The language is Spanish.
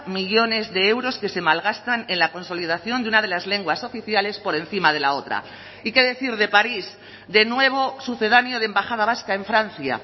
millónes de euros que se malgastan en la consolidación de una de las lenguas oficiales por encima de la otra y qué decir de parís de nuevo sucedáneo de embajada vasca en francia